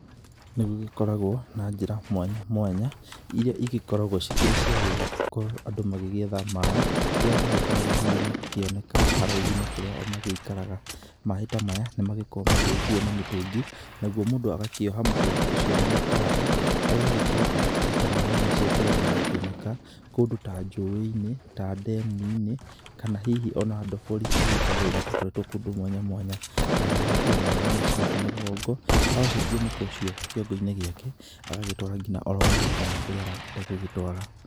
Nĩ gũgĩkoragwo na njĩra mwanya mwanyamwanya iria igĩkoragwo cikĩrĩ ciagũkorwo andũ magĩetha maĩ kũrĩa magĩkoragwo hihi makĩoneka haraihu na kũrĩa o magĩikaraga. Maĩĩ ta maya nĩ magĩkoragwo magĩkuo na mĩtũngi nagwo mũndũ agakĩoha mũtũngi ũcio na mũkanda agagĩkorwo akĩruta maĩ macio kũrĩa marakĩoneka kũndũ ta njũĩ-inĩ, ta ndemu-inĩ, kana hihi o na ndobori iria igĩkoragwo igĩtoboretwo kũndũ mwanyamwanya, nake agagĩkuua maĩĩ macio na mũgongo ahocetie mũkwa ũcio kĩongo-inĩ gĩake agagĩtwara oro nginya mũcii kana kũrĩa arakĩenda gũgĩtwara.